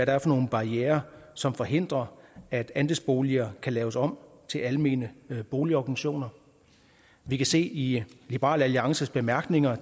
er for nogle barrierer som forhindrer at andelsboliger kan laves om til almene boligorganisationer vi kan se i liberal alliances bemærkninger